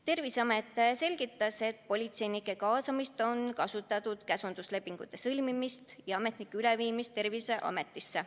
Terviseamet selgitas, et politseinike kaasamisel on kasutatud käsunduslepingute sõlmimist ja ametnike üleviimist Terviseametisse.